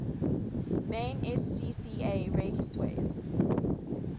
main scca raceways